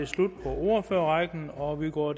var slut på ordførerrækken og vi går